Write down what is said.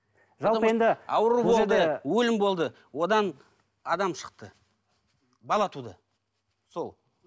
жалпы енді ауру болды өлім болды одан адам шықты бала туды сол